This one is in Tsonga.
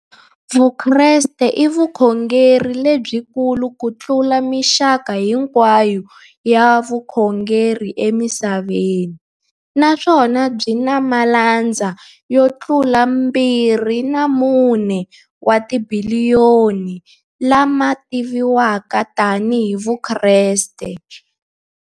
Vukreste i vukhongeri lebyi kulu kutlula mixaka hinkwayo ya vukhongeri emisaveni, naswona byi na malandza yo tlula 2.4 wa tibiliyoni, la ma tiviwaka tani hi Vakreste.